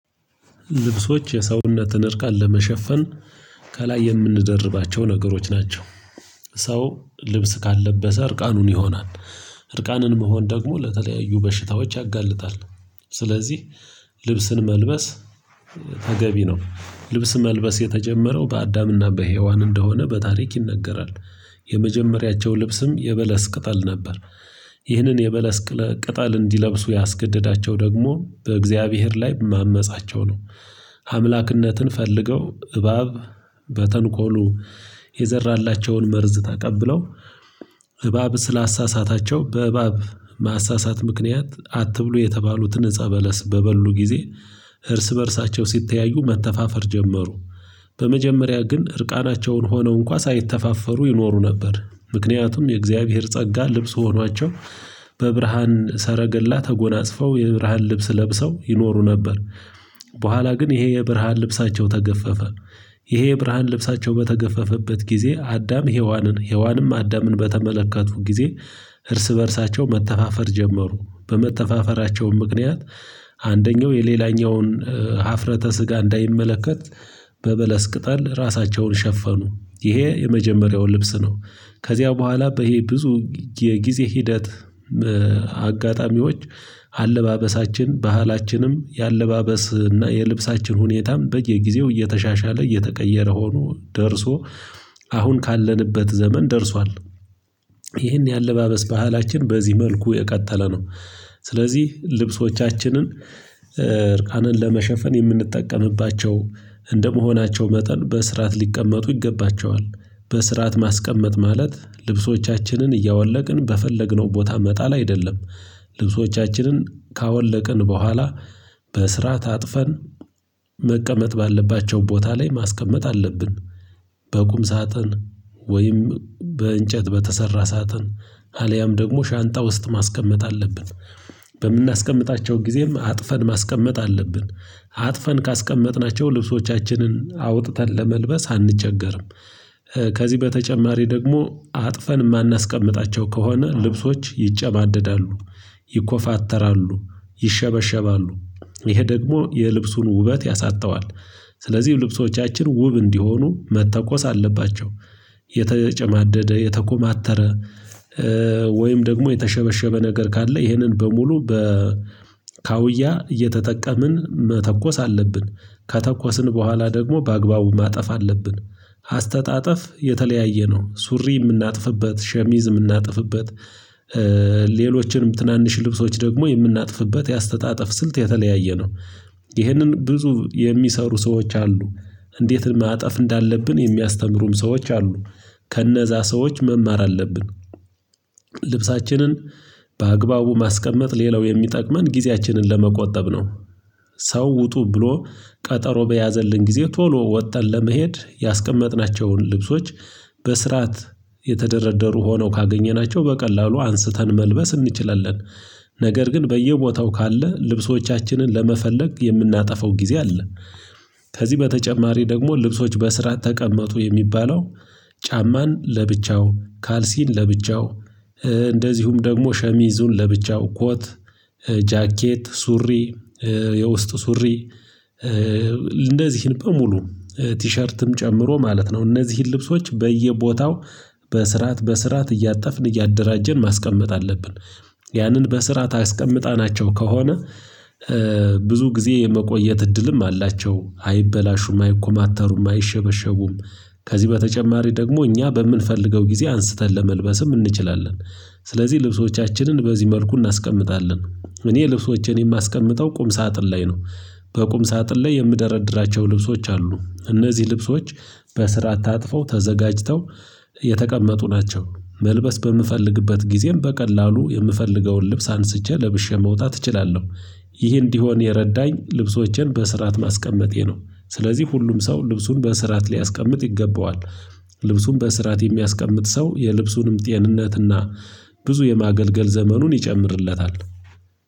ልብሶች የሰውነትን እርቃን ለመሸፈን ከላይ የምንደርባቸው ነገሮች ናቸው። ሰው ልብስ ካለበሰ እርቃኑን ይሆናል። እርቃንን መሆን ደግሞ ለተለያዩ በሽታዎች ያጋልጣል። ስለዚህ ልብስን መልበስ ተገቢ ነው። ልብስ መልበስ የተጀመረው በአዳምና በሄዋን እንደሆነ በታሪክ ይነገራል። የመጀመሪያቸው ልብስም የበለስ ቅጠል ነበር። ይህንን የበለስ ቅጠል እንዲለብሱ ያስገደዳቸው ደግሞ በእግዚአብሔር ላይ ማመጻቸው ነው። አምላክነትን ፈልገው እባብ በተንኮሉ የዘራላቸውን መርዝ ተቀብለው ተቀብለው እባብ ስላሳሳታቸው በእባብ ማሳሳት ምክንያት አትብሉ የተባሉትን ዕጸ በለስ በበሉ ጊዜ። እርስ በእርሳቸው ሲተያዩ መተፋፈር ጀመሩ። በመጀመሪያ ግን እርቃናቸውን ሆነው እንኳን ሳይተፋፈሩ ይኖሩ ነበር ምክንያቱም የእግዚአብሔር ጸጋ ልብስ ሆኗቸው። በብርሃን ሰረገላ ተጎናጽፈው የብርሃን ልብስ ለብሰው ይኖሩ ነበር። በኋላ ግን ይሄ የብርሃን ልብሳቸው ተገፈፈ። ይሄ የብርሃን ልብሳቸው በተገፈፈበት ጊዜ አዳም ሄዋንን ሄዋንም አዳምን በተመለከቱ ጊዜ። እርስ በእርሳቸው መተፋፈር ጀመሩ በመተፋፈራቸውም ምክንያት አንደኛው የሌላኛውን ሀፍረተ ስጋ እንዳይመለከት በበለስ ቅጠል ራሳቸውን ሸፈኑ ይሄ የመጀመሪያው ልብስ ነው። ከዚያ በኋላ በይሄ ብዙ የጊዜ ሂደት አጋጣሚዎች አለባበሳችን ባህላችንም የአለባበስ እና የልብሳችን ሁኔታም በየጊዜው እየተሻሻለ እየተቀየረ ሆኖ ደርሶ አሁን ካለንበት ዘመን ደርሷል። ይሄን የአለባበስ ባህላችን በዚህ መልኩ የቀጠለ ነው። ስለዚህ ልብሶቻችንን እርቃንን ለመሸፈን የምንጠቀምባቸው እንደመሆናቸው መጠን በስርዓት ሊቀመጡ ይገባቸዋል። በስርዓት ማስቀመጥ ማለት ልብሶቻችንን እያወለቅን በፈለግነው ቦታ መጣል አይደለም። ልብሶቻችንን ካወለቅን በኋላ በስርዓት አጥፈን መቀመጥ ባለባቸው ቦታ ላይ ማስቀመጥ አለብን። በቁም ሳጥን ወይም በእንጨት በተሰራ ሳጥን አልያም ደግሞ ሻንጣ ውስጥ ማስቀመጥ አለብን። በምናስቀምጣቸው ጊዜም አጥፈን ማስቀመጥ አለብን። አጥፈን ካስቀመጥናቸው ልብሶቻችንን አውጥተን ለመልበስ አንቸገርም። ከዚህ በተጨማሪ ደግሞ አጥፈን የማናስቀምጣቸው ከሆነ ልብሶች ይጨማደዳሉ። ይኮፋተራሉ ይሸበሸባሉ ይሄ ደግሞ የልብሱን ውበት ያሳጣዋል። ስለዚህ ልብሶቻችን ውብ እንዲሆኑ መተኮስ አለባቸው። የተጨማደደ የተኮማተረ ወይም ደግሞ የተሸበሸበ ነገር ካለ ይህንን በሙሉ በካውያ እየተጠቀምን መተኮስ አለብን። ከተኮስን በኋላ ደግሞ በአግባቡ ማጠፍ አለብን። አስተጣጠፍ የተለያየ ነው ሱሪ የምናጥፍበት ሸሚዝ የምናጥፍበት ሌሎችንም ትናንሽ ልብሶች ደግሞ የምናጥፍበት የአስተጣጠፍ ስልት የተለያየ ነው። ይህንን ብዙ የሚሰሩ ሰዎች አሉ። እንዴት ማጠፍ እንዳለብን የሚያስተምሩም ሰዎች አሉ። ከነዛ ሰዎች መማር አለብን። ልብሳችንን በአግባቡ ማስቀመጥ ሌላው የሚጠቅመን ጊዜያችንን ለመቆጠብ ነው። ሰው ውጡ ብሎ ቀጠሮ በያዘልን ጊዜ ቶሎ ወጥተን ለመሄድ ያስቀመጥናቸውን ልብሶች በስርዓት የተደረደሩ ሆነው ካገኘናቸው በቀላሉ አንስተን መልበስ እንችላለን። ነገር ግን በየቦታው ካለ ልብሶቻችንን ለመፈለግ የምናጠፋው ጊዜ አለ። ከዚህ በተጨማሪ ደግሞ ልብሶች በስርዓት ተቀመጡ የሚባለው ጫማን ለብቻው ካልሲን ለብቻው እንደዚሁም ደግሞ ሸሚዙን ለብቻው ኮት ጃኬት ሱሪ የውስጥ ሱሪ እነዚህን በሙሉ ቲሸርትም ጨምሮ ማለት ነው እነዚህን ልብሶች በየቦታው በስርዓት በስርዓት እያጠፍን እያደራጀን ማስቀመጥ አለብን። ያንን በስርዓት አስቀምጣናቸው ከሆነ ብዙ ጊዜ የመቆየት እድልም አላቸው አይበላሹም አይኮማተሩም አይሸበሸቡም። ከዚህ በተጨማሪ ደግሞ እኛ በምንፈልገው ጊዜ አንስተን ለመልበስም እንችላለን። ስለዚህ ልብሶቻችንን በዚህ መልኩ እናስቀምጣለን እኔ ልብሶቼን የማስቀምጠው ቁም ሳጥን ላይ ነው። በቁም ሳጥን ላይ የምደረድራቸው ልብሶች አሉ እነዚህ ልብሶች በስርዓት ታጥፈው ተዘጋጅተው የተቀመጡ ናቸው። መልበስ በምፈልግበት ጊዜም በቀላሉ የምፈልገውን ልብስ አንስቼ ለብሼ መውጣት እችላለሁ። ይህ እንዲሆን የረዳኝ ልብሶቼን በስርዓት ማስቀመጤ ነው። ስለዚህ ሁሉም ሰው ልብሱን በስርዓት ሊያስቀምጥ ይገባዋል። ልብሱን በስርዓት የሚያስቀምጥ ሰው የልብሱንም ጤንነትና ብዙ የማገልገል ዘመኑን ይጨምርለታል